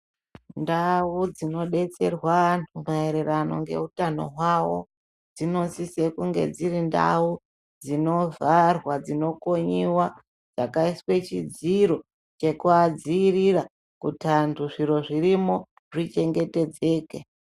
Ndau dzinodetserwa vantu maererano ngeutanho hwavo dzinosise kunge dziri ndau dzinovharwa dzinokonyiwa dzakaiswa chidziro chekuvadzivirira kuti anhu zviro zvirimo zvichengete dzeke.